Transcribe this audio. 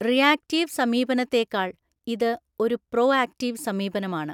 Reactive സമീപനത്തേക്കാൾ ഇത് ഒരു പ്രൊആക്ടീവ് സമീപനമാണ്.